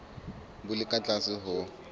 bo le ka tlase ho